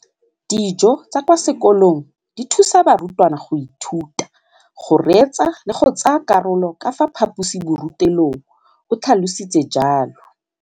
Dijo tsa kwa sekolong dithusa barutwana go ithuta, go reetsa le go tsaya karolo ka fa phaposiborutelong, o tlhalositse jalo.